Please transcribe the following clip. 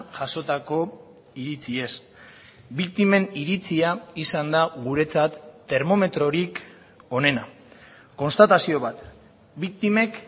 jasotako iritziez biktimen iritzia izan da guretzat termometrorik onena konstatazio bat biktimek